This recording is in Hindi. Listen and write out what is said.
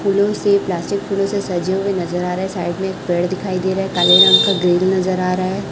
फूलों से प्लास्टिक फूलों से सजे हुएं नजर आ रहे साइड में एक पेड़ दिखाई दे रहा है काले रंग का ग्रिल नजर आ रहा हैं।